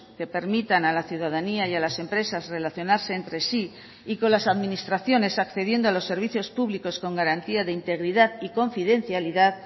que permitan a la ciudadanía y a las empresas relacionarse entre sí y con las administraciones accediendo a los servicios públicos con garantía de integridad y confidencialidad